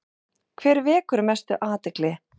Hver vekur mesta athygli?